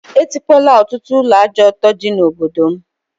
E tikpola ọtụtụ ụlọ ajọ ọtọ dị na obodo m